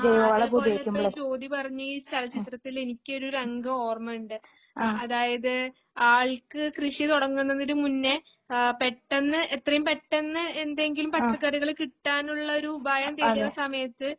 അതേപോലെ ഇപ്പോ ജ്യോതി പറഞ്ഞാ ഈ ചലച്ചിത്രത്തില് എനിക്കൊരു രംഗം ഓർമ്മയുണ്ട് അതായത് ആൾക്ക് കൃഷി തുടങ്ങുന്നതിനു മുന്നേ ആ പെട്ടെന്ന് എത്രയും പെട്ടെന്ന് എന്തെങ്കിലും പച്ചക്കറികള് കിട്ടാനുള്ള ഒരു ഉപായം തേടിയ സമയത്ത്